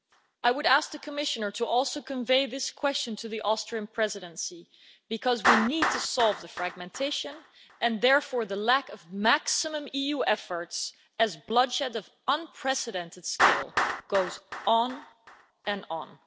I would ask the Commissioner to also convey this question to the Austrian Presidency, because we need to solve the fragmentation and therefore the lack of maximum EU efforts as bloodshed on an unprecedented scale goes on and on.